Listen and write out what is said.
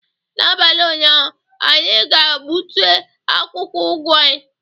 N'abalị ụnyaahụ, anyị ga-gbute akwụkwọ ugu anyị